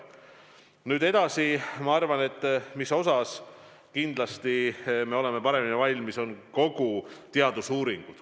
Nüüd edasi: mis osas me oleme kindlasti paremini valmis, on teadusuuringud.